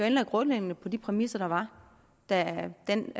ændrer grundlæggende på de præmisser der var da den